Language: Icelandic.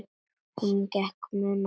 Hún gat ekki munað það.